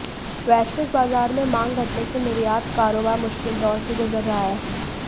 वैश्विक बाजार में मांग घटने से निर्यात कारोबार मुश्किल दौर से गुजर रहा है